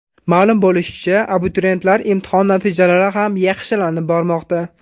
Ma’lum bo‘lishicha, abituriyentlar imtihon natijalari ham yaxshilanib bormoqda.